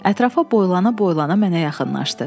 Ətrafa boylana-boylana mənə yaxınlaşdı.